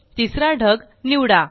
तिसरा ढग निवडा